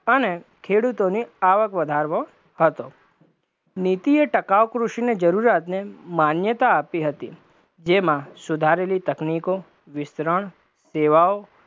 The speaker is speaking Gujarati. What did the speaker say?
અને ખેડૂતોની આવક વધારવો હતો, નીતિએ ટકાવ કૃષિને જરૂરિયાતને માન્યતા આપી હતી, જેમાં સુધારેલી તકનીકો, વિસ્તરણ, સેવાઓ